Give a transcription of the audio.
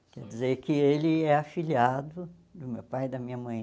Quer dizer que ele é afilhado do meu pai e da minha mãe.